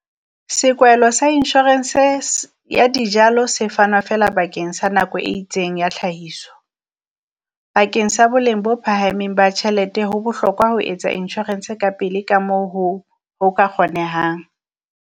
Sekwahelo sa inshorense ya dijalo se fana feela bakeng sa nako e itseng ya tlhahiso. Bakeng sa boleng bo phahameng ba tjhelete ho bohlokwa ho etsa inshorense ka pele ka moo ho ho ka kgonehang.